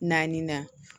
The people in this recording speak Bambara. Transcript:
Naani na